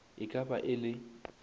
e ka ba e le